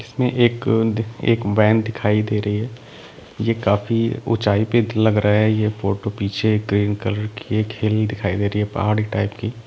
एक -- एक वैन दिखाई दे रही है ये काफी ऊंचाई पे लग रहा है ये फोटो पीछे ग्रीन कलर की एक हिल दिखाई दे रही है पहाड़ी टाइप की--